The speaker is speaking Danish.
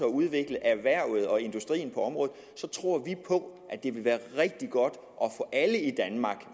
udvikle erhvervet og industrien på området tror vi det vil være rigtig godt